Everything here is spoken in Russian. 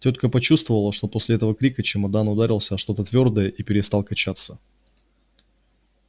тётка почувствовала что после этого крика чемодан ударился о что-то твёрдое и перестал качаться